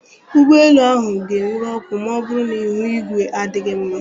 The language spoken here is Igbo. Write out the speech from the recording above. Ụgbọ elu ahụ ga-enwuru ọkụ ma ọ bụrụ na ihu igwe adịghị mma.